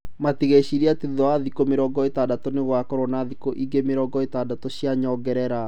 Matigecirĩrie atĩ thutha wa thikũ mĩrongo ĩtandatũ nĩgũgakorwo na thikũ ingĩ mĩrongo ĩtandatũ cia nyongerera."